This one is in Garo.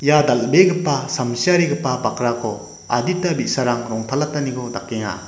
ia dal·begipa samsiarigipa bakrako adita bi·sarang rongtalataniko dakenga.